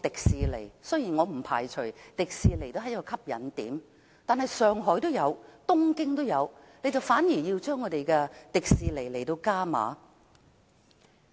雖然我不排除這是一個吸引點，但上海和東京也有迪士尼樂園，政府卻偏偏向樂園加碼。